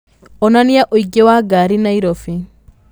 onanĩa ũingĩ wa ngari Nairobi